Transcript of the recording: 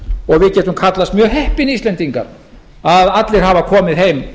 og við getum kallast mjög heppin íslendingar að allir hafa komið heim